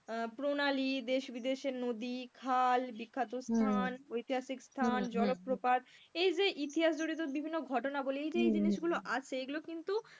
আহ প্রণালী, দেশ বিদেশের নদী, খাল, বিখ্যাত স্থান, ঐতিহাসিক স্থান, জলপ্রপাত এই যে ইতিহাস জড়িত বিভিন্ন ঘটনাবলি এই যে এই জিনিসগুলো আছে এগুলো কিন্তু,